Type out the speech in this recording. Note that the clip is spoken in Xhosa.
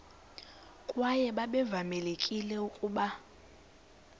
kwaye babevamelekile ukuba